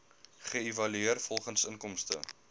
geëvalueer volgens inkomste